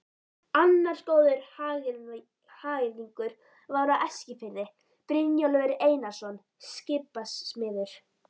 Annar góður hagyrðingur var á Eskifirði, Brynjólfur Einarsson skipasmiður.